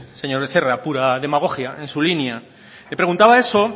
señor becerra pura demagogia en su línea le preguntaba eso